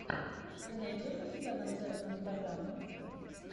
ты найдешь у себя концертную программу